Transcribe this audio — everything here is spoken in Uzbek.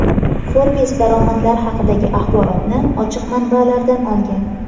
Forbes daromadlar haqidagi axborotni ochiq manbalardan olgan.